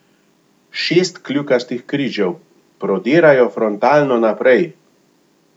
Šest kljukastih križev, prodirajo frontalno naprej!